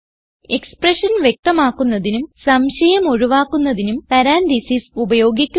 expression വ്യക്തമാക്കുന്നതിനും സംശയം ഒഴിവാക്കുന്നതിനും പരാൻതീസിസ് ഉപയോഗിക്കുക